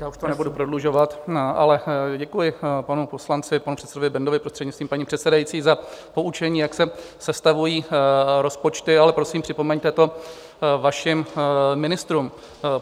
Já už to nebudu prodlužovat, ale děkuji panu poslanci, panu předsedovi Bendovi, prostřednictvím paní předsedající, za poučení, jak se sestavují rozpočty, ale prosím, připomeňte to vašim ministrům.